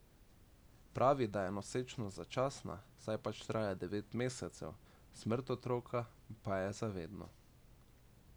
Pravi, da je nosečnost začasna, saj pač traja devet mesecev, smrt otroka pa je za vedno.